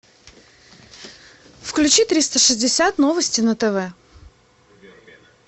включи триста шестьдесят новости на тв